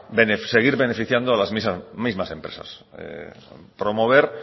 seguir beneficiando a las mismas empresas promover